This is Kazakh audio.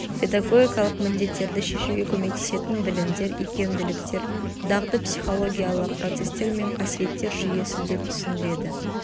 педагогикалық міндеттерді шешуге көмектесетін білімдер икемділіктер дағды психологиялық процестер мен қасиеттер жүйесі деп түсіндіреді